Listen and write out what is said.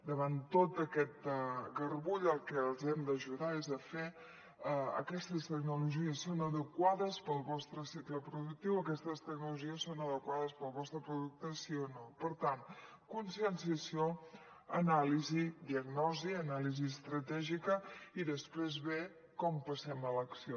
davant tot aquest garbull al que els hem d’ajudar és a fer aquestes tecnologies són adequades per al vostre cicle productiu aquestes tecnologies són adequades per al vostre producte sí o no per tant conscienciació anàlisi diagnosi anàlisi estratègica i després ve com passem a l’acció